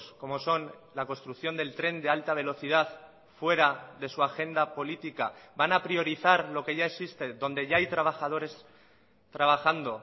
como son la construcción del tren de alta velocidad fuera de su agenda política van a priorizar lo que ya existe donde ya hay trabajadores trabajando